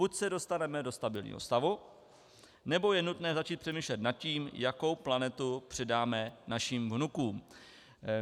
Buď se dostaneme do stabilního stavu, nebo je nutné začít přemýšlet nad tím, jakou planetu předáme našim vnukům.